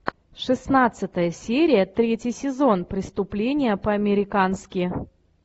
шестнадцатая серия третий сезон преступление по американски